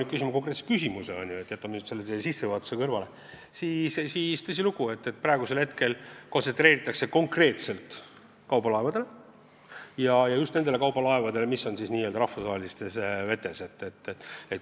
Aga kui minna teie küsimuse juurde ja jätta teie sissejuhatus kõrvale, siis, tõsilugu, praegu kontsentreerutakse konkreetselt kaubalaevadele ja just nendele kaubalaevadele, mis sõidavad n-ö rahvusvahelistes vetes.